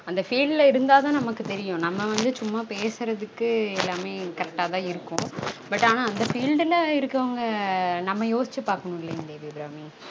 அந்த field ல இருந்தா தான் நமக்கு தெரியும் நம்ம வந்து சும்மா பேசுறதுக்கு எல்லாமே correct ஆ தான் இருக்கும் but ஆனா அந்த field ல இருக்றவங்க நம்ம யோச்சி பாக்கனும் இல்லீங்கலா தேவி அபிராமி